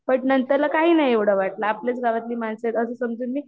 नंतर ला काही नाही एवढं वाटलं आपल्या गावातली माणसं आहेत असं समजून मी